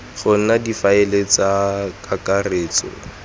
go nna difaele tsa kakaretso